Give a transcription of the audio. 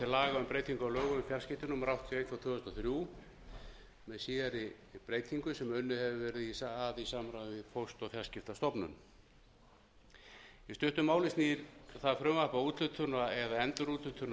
laga um breytingu á lögum um fjarskipti númer áttatíu og eitt tvö þúsund tvö hundruð og þrjú með síðari breytingum sem unnið hefur verið að í samráði við póst og fjarskiptastofnun í stuttu máli er það frumvarp að úthlutun eða endurúthlutun á